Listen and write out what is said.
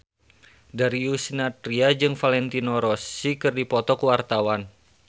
Darius Sinathrya jeung Valentino Rossi keur dipoto ku wartawan